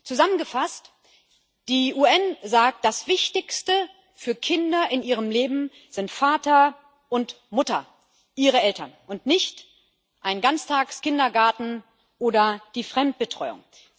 Zusammengefasst sagen die UN Das Wichtigste für Kinder in ihrem Leben sind Vater und Mutter ihre Eltern und nicht ein Ganztageskindergarten oder die Fremdbetreuung.